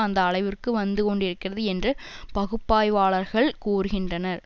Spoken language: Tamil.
அந்த அளவிற்கு வந்து கொண்டிருக்கிறது என்று பகுப்பாய்வாளர்கள் கூறுகின்றனர்